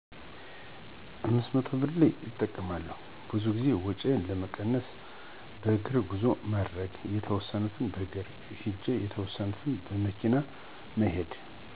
500ብር እጠቀማለሁ፣ ብዙ ጊዜ ወጭውን ለመቀነስ በእግር ጉዞ ማድረግ፣ የተወሰነውን በእግር ሂዶ የተወሰነውን በመኪና መሄድ።